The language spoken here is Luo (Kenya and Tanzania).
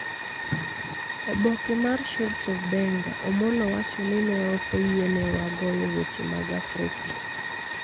Oboke mar Shades of Benga, Omollo wacho ni ne ok oyienewa goyo wende mag Afrika,